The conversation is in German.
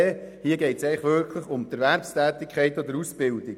Hier geht es wirklich um Erwerbstätigkeit und Ausbildung.